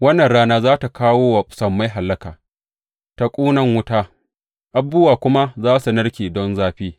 Wannan rana za tă kawo wa sammai hallaka ta ƙunan wuta, abubuwa kuma za su narke don zafi.